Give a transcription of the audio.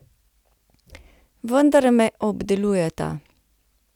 Vendar me obdelujeta.